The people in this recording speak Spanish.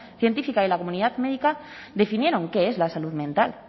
científica y la comunidad médica definieron qué es la salud mental